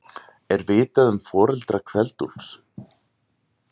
Er vitað um foreldra Kveld-Úlfs?